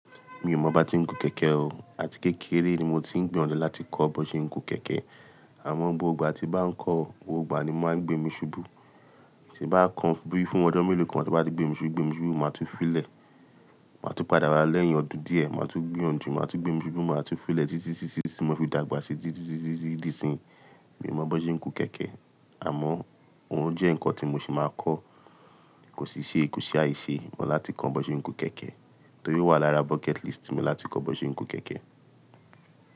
Mi ò mọ́ bá ti ń gun kẹ̀kẹ́ o. Àti kékeré ni mo ti ń gbọ̀nlẹ̀ láti kọ́ bó ṣe ń gun kẹ̀kẹ́. Àmọ́ gbogbo igbà tí bá ń kọ́, gbogbo ìgbà ni o n máa ń gbé mi ṣubú. Tí bá kan bi fún ọjọ́ mélòó kan, tí ọ́ bá ti gbé mi ṣubú, gbé mi ṣubú, màá tú filẹ̀. Màá tú padà wà lẹ́yìn ọdún díẹ̀. Màá tú gbiyanjù. Màá tú gbé mi ṣubú. Màá tú filẹ̀ títí tí mo fi dàgbà síi, títí di ìsìn. Mi ò mọ bó n ṣe ń gun kẹ̀kẹ́. Àmọ́ òun jẹ́ nǹkan tí mo ṣì máa kọ́. Kò sì ṣe é kù ṣáì ṣe mọ láti kọ́ bó ṣe ń gun kẹ̀kẹ́. Nítorí owà lára bucket list mi láti kọ́ bó ṣe ń gun kẹ̀kẹ́.